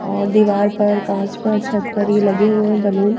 और दीवार पर कांच पर छत पर ये लगे हुए हैं ये बलून ।